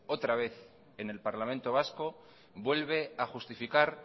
otra vez en el parlamento vasco vuelve a justificar